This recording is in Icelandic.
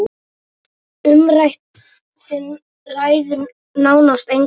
Umrætt þing ræður nánast engu.